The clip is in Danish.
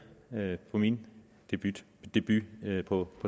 ved min debut debut på